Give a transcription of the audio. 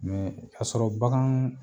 kasɔrɔ bagan